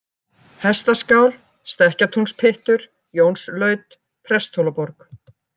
Hestaskál, Stekkatúnspyttur, Jónslaut, Presthólaborg